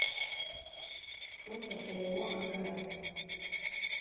фото ооо ангара